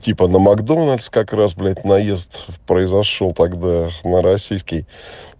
типо на макдональс как раз блять наезд произошёл тогда на российский